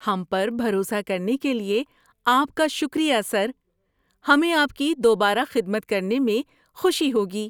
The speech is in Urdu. ہم پر بھروسہ کرنے کے لیے آپ کا شکریہ، سر۔ ہمیں آپ کی دوبارہ خدمت کرنے میں خوشی ہوگی۔